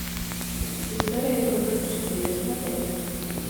история игрушек четыре смотреть